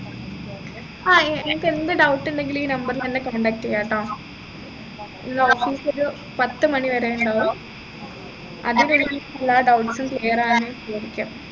ആഹ് ആഹ് ഏർ നിങ്ങക്ക് എന്ത് doubt ഇണ്ടെങ്കിൽ ഈ number ലു ന്നെ contact ചെയ്യാട്ടോ ഇന്ന് office ഒരു പത്തുമണി വരെ ഇണ്ടാവും അതിനുള്ളിൽ എല്ലാ doubts ഉം clear ആയന്